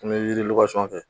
N be weele fɛ.